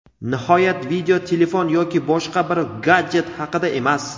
nihoyat video telefon yoki boshqa bir gadjet haqida emas.